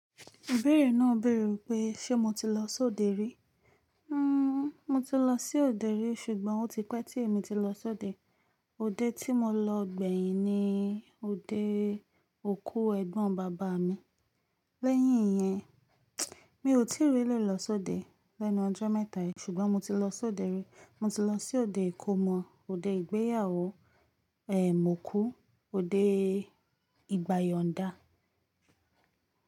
Ìbẹ́rẹ́ náà béèrè wípé, ṣe mo ti lọ sóde rí? Hín, mo ti lọ sí òde rí ṣùgbọ́n ó ti pẹ́ tí èmi ti lọ sóde. Òde tí mo lọ gbẹ̀yìn ni òde òkú ẹgbọ́n bàbá mi. Lẹ́yìn yẹn, mi ò tí rí lè lọ sóde lẹ́nu ọjọ́ mẹ́ta yí ṣùgbọ́n mo ti lọ sóde rí. Mo ti lọ sí òde ìkómọ, òde ìgbéyàwó, ẹ̀m ọ́kú, òde ìgbàyọ̀ńdá.